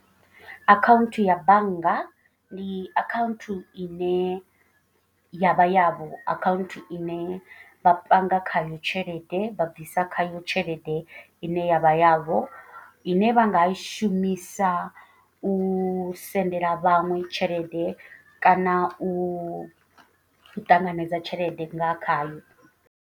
Account ya bannga ndi account i ne ya vha ya vho. Account ine vha panga khayo tshelede vha bvisa khayo tshelede i ne yavha yavho. I ne vha nga i shumisa u sendela vhaṅwe tshelede kana u ṱanganedza tshelede nga khayo.